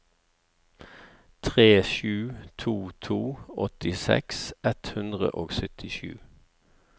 tre sju to to åttiseks ett hundre og syttisju